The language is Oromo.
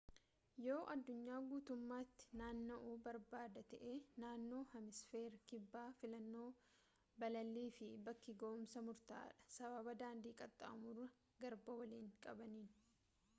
yoo addunyaa guutummaatti naanna'uu barbaadda ta'e naannoo heemisfeera kibbaa filannoo balalii fi bakki ga'umsaa murtaa'aadha sababa daandii qaxxaamura garbaa waliin qabaniini